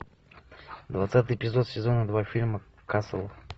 двадцатый эпизод сезона два фильма касл